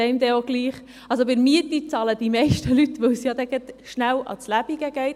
Die Miete bezahlen die meisten Leute, weil es sonst rasch um die Existenz geht.